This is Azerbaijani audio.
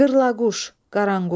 Qırlaquş, qaranquş.